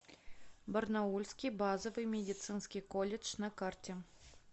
барнаульский базовый медицинский колледж на карте